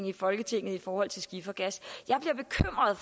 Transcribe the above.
i folketinget i forhold til skifergas